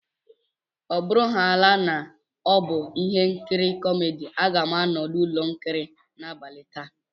Ọ bụrụhàála na ọ bụ ihe nkiri kómédy, a ga m anọ n'ụlọ ihe nkiri n'abalị taa